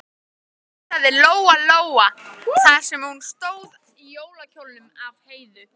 hugsaði Lóa Lóa þar sem hún stóð í jólakjólnum af Heiðu.